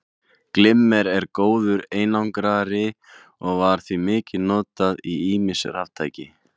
Glimmer er góður einangrari og var því mikið notað í ýmis raftæki.